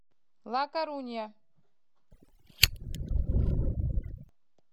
ла корунья